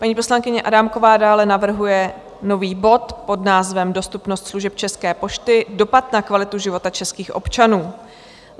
Paní poslankyně Adámková dále navrhuje nový bod pod názvem Dostupnost služeb České pošty, dopad na kvalitu života českých občanů.